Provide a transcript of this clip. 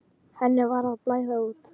Henni var að blæða út.